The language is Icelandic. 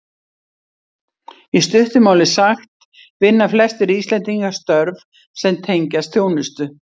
Í stuttu máli sagt vinna flestir Íslendingar störf sem tengjast þjónustu.